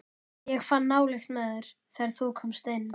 Ég fann nálykt með þér, þegar þú komst inn.